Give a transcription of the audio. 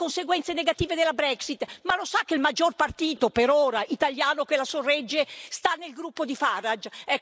Ha parlato delle conseguenze negative della Brexit, ma lo sa che il maggior partito per ora italiano che la sorregge sta nel gruppo di Farage?